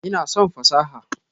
Ina son fasaha.